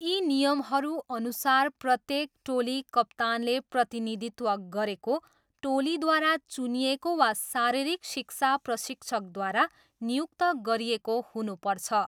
यी नियमहरू अनुसार प्रत्येक टोली कप्तानले प्रतिनिधित्व गरेको, टोलीद्वारा चुनिएको वा शारीरिक शिक्षा प्रशिक्षकद्वारा नियुक्त गरिएको हुनुपर्छ।